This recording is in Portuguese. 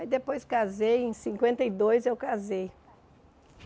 Aí depois casei, em cinquenta e dois eu casei.